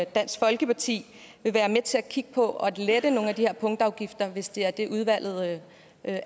dansk folkeparti vil være med til at kigge på at lette nogle af de her punktafgifter hvis det er det udvalget